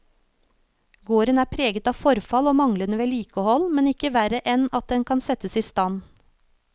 Gården er preget av forfall og manglende vedlikehold, men ikke verre enn at den kan settes i stand.